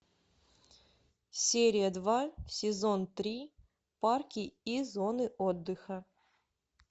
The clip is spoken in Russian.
серия два сезон три парки и зоны отдыха